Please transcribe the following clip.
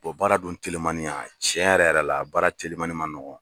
baara dun telimannin tiɲɛ yɛrɛ yɛrɛ la baara telimannin man nɔgɔn